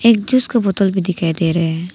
एक का बोतल भी दिखाई दे रहे हैं।